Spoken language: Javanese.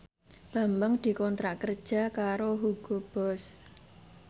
Bambang dikontrak kerja karo Hugo Boss